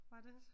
Var det